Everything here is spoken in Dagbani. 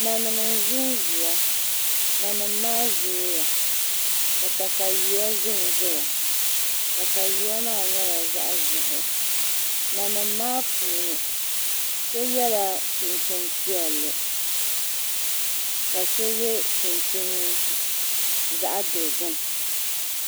Nanim n ʒinʒiya nanim maa zooya ka katawiya ʒɛnʒɛya katawiya maa nyɛla zaɣ ʒiɛhi nanim maa puuni so yɛla chinchin piɛlli la so yɛ chinchin zaɣ dozim